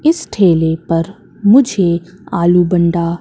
इस ठेले पर मुझे आलू बंडा--